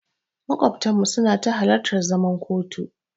Maƙwabtanmu suna ta halartar zuman kotu.